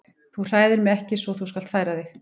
Þú hræðir mig ekki svo þú skalt færa þig.